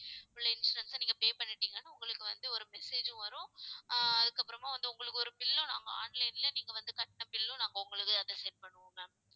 உள்ள insurance அ நீங்க pay பண்ணிட்டீங்கன்னா உங்களுக்கு வந்து ஒரு message உம் வரும். ஆஹ் அதுக்கப்புறமா வந்து உங்களுக்கு ஒரு bill உம் நாங்க online ல நீங்க வந்து கட்டின bill உம் நாங்க உங்களுது அதை set பண்ணுவோம் ma'am